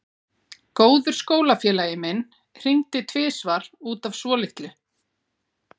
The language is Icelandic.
Góður skólafélagi minn hringdi tvisvar út af svolitlu.